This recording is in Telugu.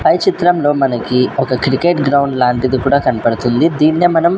పై చిత్రంలో మనకి ఒక క్రికెట్ గ్రౌండ్ లాంటిది కూడా కనపడుతుంది దీన్నే మనం--